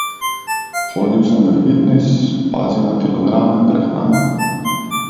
Hodil sem v fitnes, pazil na kilograme, prehrano...